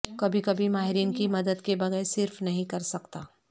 کبھی کبھی ماہرین کی مدد کے بغیر صرف نہیں کر سکتا